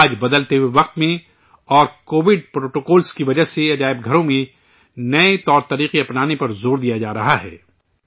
آج، بدلے ہوئے وقت میں اور کووڈ پروٹوکول کی وجہ سے میوزیم میں نئے طور طریقے اپنانے پر زور دیا جا رہا ہے